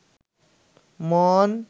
মন